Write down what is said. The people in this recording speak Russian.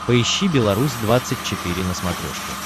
поищи беларусь двадцать четыре на смотрешке